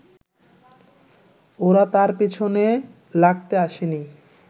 ওরা তার পেছনে লাগতে আসেনি